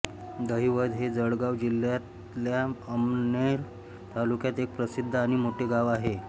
दहिवद हे जळगाव जिल्ह्यातल्या अमळनेर तालुक्यातील एक प्रसिद्ध आणि मोठे गाव आहे